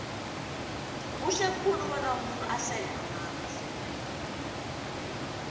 kuhle khulu bona umuntu asele amanzi